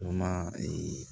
O ma